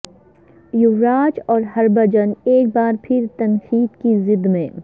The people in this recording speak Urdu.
یووراج اور ہربجھن ایک بار پھر تنقید کی زد میں